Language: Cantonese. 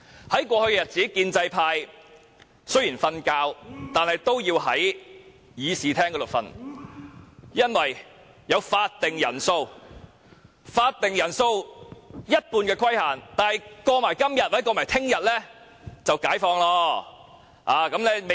在過去的日子，建制派即使睡覺，也要在會議廳內睡，因為有法定人數為全體議員的一半的規限。